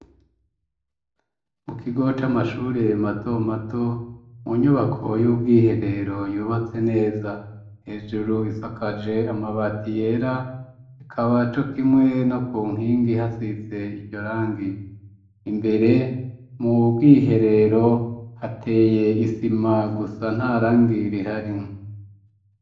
Mu kigo c'amashure mato mato, mu nyubako y'ubwiherero yubatse neza, hejuru isakaje amabati yera, ikaba co kimwe no ku nkingi hasize iryo rangi, imbere mu bwiherero hateye isima gusa nta rangi rihari.